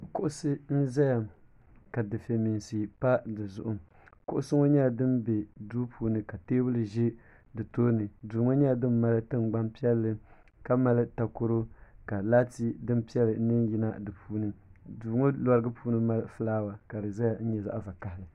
Kuɣisi n zaya ka dufɛya mɛinsi pa di zuɣu kuɣusi ŋɔ nyɛla dini bɛ duu puuni ka tɛɛbuli zɛ di tooni duu ŋɔ nyɛla dini mali tiŋgbani piɛlli ka mali takoro ka laati dini piɛlli bɛ n yina di puuni duu ŋɔ larigi puuni mali flawa ka di zaya nyɛ zaɣi vakahali.